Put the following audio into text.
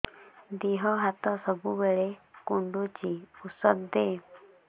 ଦିହ ହାତ ସବୁବେଳେ କୁଣ୍ଡୁଚି ଉଷ୍ଧ ଦେ